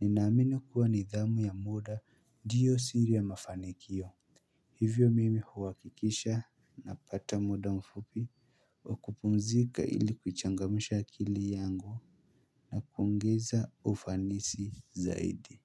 Ninaamini kuwa nidhamu ya muda ndiyo siri ya mafanikio Hivyo mimi huhakikisha Napata muda mfupi wa kupumzika ili kuchangamsha akili yangu na kuongeza ufanisi zaidi.